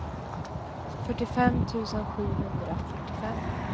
fyrtiofem tusen sjuhundrafyrtiofem